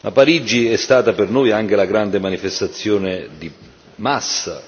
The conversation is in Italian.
Parigi è stata per noi anche la grande manifestazione di massa.